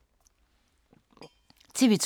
TV 2